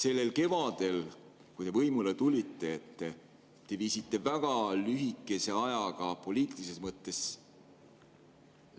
Sellel kevadel, kui te võimule tulite, te viisite väga lühikese ajaga poliitilises mõttes